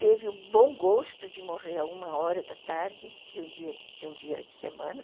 Teve o bom gosto de morrer a uma hora da tarde de um dia de um dia de semana.